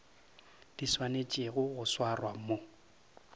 di swanetšego go swarwa mo